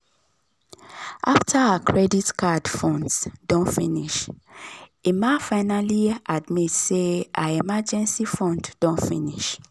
after her credit card funds don finish emma finally admit say her emergency fund don finish.